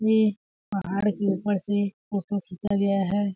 ये पहाड़ के ऊपर से फोटो खींचा गया है।